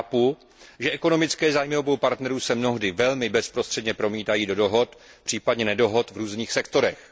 Chápu, že ekonomické zájmy obou partnerů se mnohdy velmi bezprostředně promítají do uzavření, případně neuzavření dohod v různých sektorech.